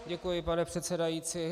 Děkuji, pane předsedající.